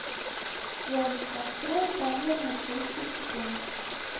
джой настрой таймер на тридцать секунд